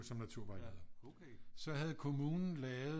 Som naturvejleder så havde kommunen lavet